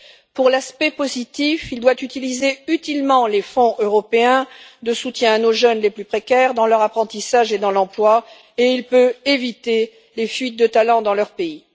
Pour l'aspect positif, il doit utiliser utilement les fonds européens de soutien à nos jeunes les plus précaires dans leur apprentissage et dans l'emploi, et il peut éviter la fuite de talents de leur pays.